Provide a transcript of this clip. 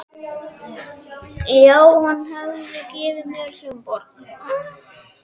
já, hún hafði gefið mér hljómborð.